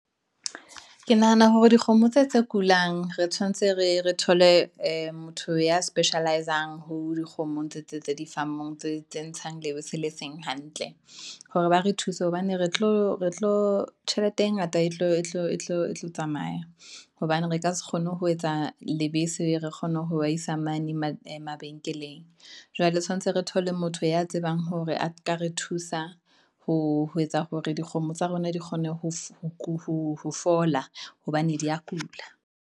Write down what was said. Ke nahana hore dikgomo tse kulang, re tshwanetse re thole motho ya specialize-ang ho dikgomo tse di farm-ong, tse ntshang lebese le seng hantle, hore ba re thuse hobane re tlo tjhelete e ngata etlo tsamaya, hobane re ka se kgone ho etsa lebese, re kgone ho ba isa mane mabenkeleng. Jwale tshwantshe re thole motho ya tsebang hore a ka re thusa, ho etsa hore dikgomo tsa rona di kgone ho fola, hobane di ya kula.